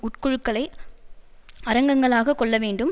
உட்குழுக்களை அரங்கங்களாக கொள்ள வேண்டும்